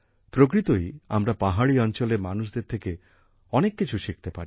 প্রকৃতই আমরা পাহাড়ি অঞ্চলের মানুষদের থেকে অনেক কিছু শিখতে পারি